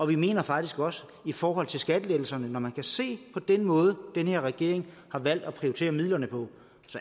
vi mener faktisk også i forhold til skattelettelserne når man kan se på den måde den her regering har valgt at prioritere midlerne på